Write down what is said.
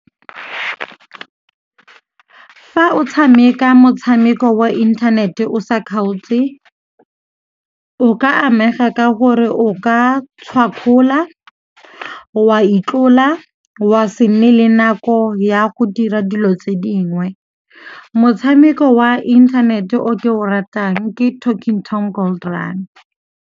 Fa o tshameka motshameko wa inthanete o sa kgaotse o ka amega ka gore o ka tshwakgola, wa itlola wa se nne le nako ya go dira dilo tse dingwe. Motshameko wa inthanete o ke o ratang ke Talking Tom Gold Run.